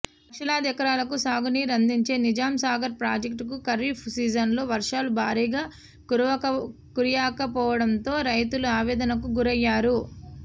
లక్షలాది ఎకరాలకు సాగునీరు అందించే నిజాంసాగర్ ప్రాజెక్టు ఖరీఫ్ సీజన్లో వర్షాలు భారీగా కురియకపోవడంతో రైతులు ఆవేదనకు గురయ్యారు